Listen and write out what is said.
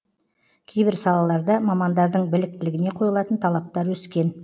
кейбір салаларда мамандардың біліктілігіне қойылатын талаптар өскен